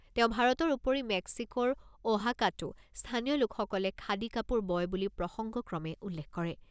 তেওঁ ভাৰতৰ উপৰি মেক্সিকোৰ অ'হাকাতো স্থানীয় লোকসকলে খাদী কাপোৰ বয় বুলি প্ৰসংগক্ৰমে উল্লেখ কৰে।